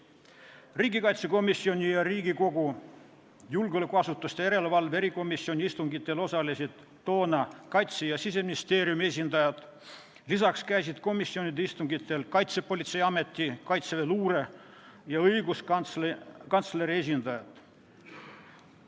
Riigikaitsekomisjoni ja Riigikogu julgeolekuasutuste järelevalve erikomisjoni istungitel osalesid toona Kaitse- ja Siseministeeriumi esindajad, lisaks käisid komisjonide istungitel Kaitsepolitseiameti, kaitseväeluure ja õiguskantsleri esindajad.